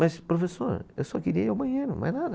Mas professor, eu só queria ir ao banheiro, mais nada.